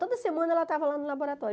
Toda semana ela estava lá no laboratório.